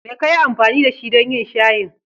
Me ka yi amfani da shi don yin shayin?